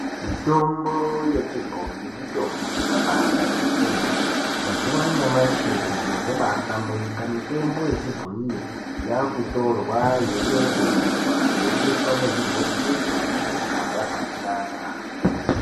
Mutombo yechibhoyi mitombo yakabaanaka kwemene mazuwa anyamashi zviro zvabaahlamburika mutombo yanyamashi yakutorwa yeiongororwa yeiiswa muzvibhokisi nemuzvigaba zvakanaka.